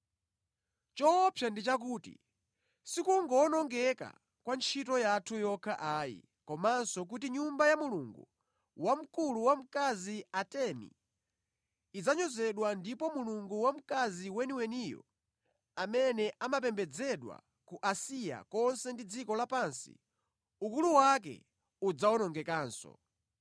Choopsa ndi chakuti sikungowonongeka kwa ntchito yathu yokha ayi, komanso kuti nyumba ya mulungu wamkulu wamkazi Atemi idzanyozedwa ndipo mulungu wamkazi weniweniyo amene amapembedzedwa ku Asiya konse ndi dziko lapansi, ukulu wake udzawonongekanso.”